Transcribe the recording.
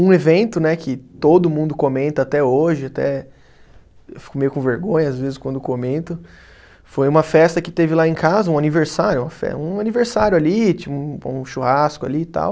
Um evento né que todo mundo comenta até hoje até, eu fico meio com vergonha às vezes quando comento, foi uma festa que teve lá em casa, um aniversário, uma fe, um aniversário ali, tinha um churrasco ali e tal.